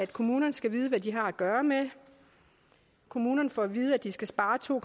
kommunerne skal vide hvad de har at gøre med kommunerne får at vide at de skal spare to